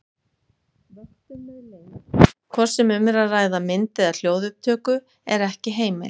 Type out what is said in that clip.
Vöktun með leynd, hvort sem um er að ræða mynd- eða hljóðupptöku, er ekki heimil.